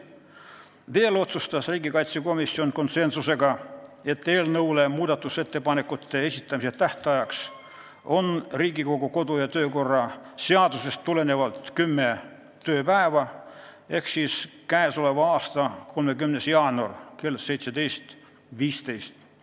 Veel otsustas riigikaitsekomisjon konsensusega, et eelnõu muudatusettepanekute esitamise tähtajaks võiks Riigikogu kodu- ja töökorra seadusest tulenevalt määrata kümme tööpäeva ehk siis tähtaeg oleks 30. jaanuar kell 17.15.